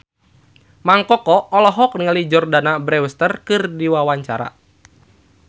Mang Koko olohok ningali Jordana Brewster keur diwawancara